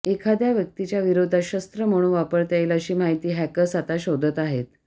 एखाद्या व्यक्तीच्या विरोधात शस्त्र म्हणून वापरता येईल अशी माहिती हॅकर्स आता शोधत आहेत